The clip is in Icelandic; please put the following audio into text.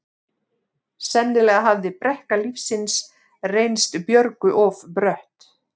Sennilega hafði brekka lífsins reynst Björgu of brött.